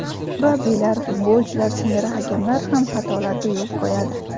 Murabbiylar, futbolchilar singari hakamlar ham xatolarga yo‘l qo‘yadi.